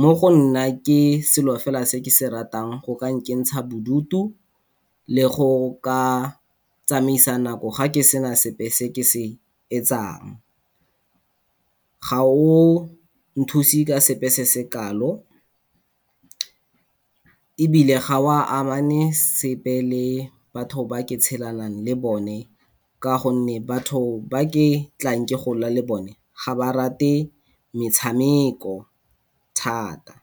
Mo go nna ke selo fela se ke se ratang go ka nkentsha bodutu le go ka tsamaisa nako ga ke sena sepe seke se etsang. Ga o nthuse ka sepe se se kalo ebile ga o amene sepe le batho ba ke tshelang le bone ka gonne batho ba ke tlang ke gola le bone ga ba rate motshameko thata.